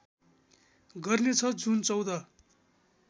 गर्नेछ जुन १४